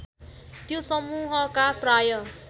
त्यो समुहका प्राय